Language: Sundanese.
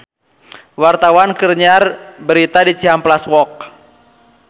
Wartawan keur nyiar berita di Cihampelas Walk